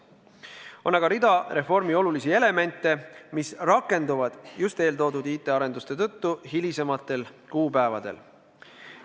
On aga rida reformi olulisi elemente, mis rakenduvad just IT-arenduste tõttu hilisematel kuupäevadel.